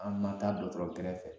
An nan taa dɔgɔtɔrɔ gɛrɛfɛ